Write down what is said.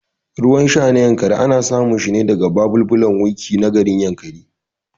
Ruwan sha na Yankari ana samun shine daga babulbulan Wikki na garin Yankari